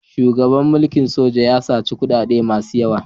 Shugaban mulkin sojan ya saci kuɗaɗe masu yawa.